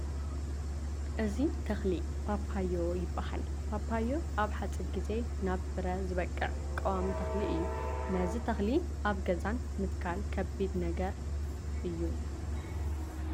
እዚ ተኽሊ ፓፓዮ ይበሃል፡፡ ፓፓዮ ኣብ ሓፂር ግዜ ናብ ፍረ ዝበቅዕ ቀዋሚ ተኽሊ እዩ፡፡ ነዚ ተኽሊ ኣብ ገዛን ምትካል ከቢድ ነገር ድዩ?